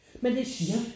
Men det er